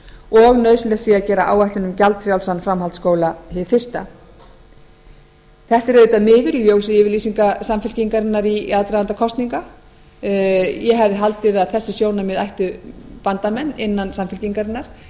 og nauðsynlegt sé að gera áætlun um gjaldfrjálsan framhaldsskóla hið fyrsta þetta er auðvitað miður í ljósi yfirlýsinga samfylkingarinnar í aðdraganda kosninga ég hefði haldið að þessi sjónarmið ættu bandamenn innan samfylkingarinnar og